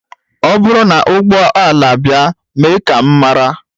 Ọ bụrụ na ụgbọ ala abịa mee ka m mara